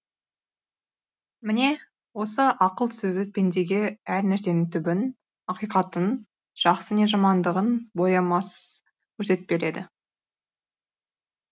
міне осы ақыл көзі пендеге әр нәрсенің түбін ақиқатын жақсы не жамандығын боямасыз көрсетіп береді